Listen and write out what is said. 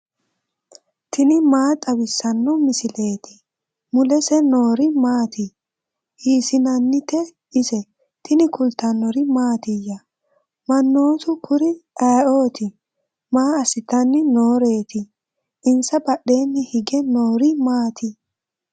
tini maa xawissanno misileeti ? mulese noori maati ? hiissinannite ise ? tini kultannori mattiya? Mannoottu kuri ayiootti? maa asittanni nooreetti? insa badheenni hige noori maatti?